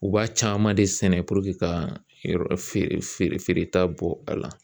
U b'a caman de sɛnɛ ka yɔrɔ feereta bɔ a la